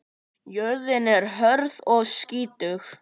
Jörðin er hörð og skítug.